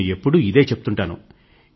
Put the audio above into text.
నేను ఎప్పుడూ ఇదే చెప్తూంటాను